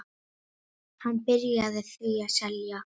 Hann byrjaði því að selja.